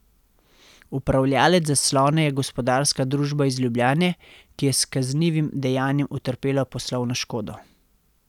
Upravljavec zaslona je gospodarska družba iz Ljubljane, ki je s kaznivim dejanjem utrpela poslovno škodo.